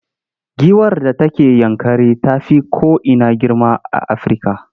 Giwar da take Yankari ta fi ko ina girma a Afirka.